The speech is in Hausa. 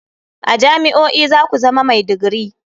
A jami'o'i za ku zama mai digiri.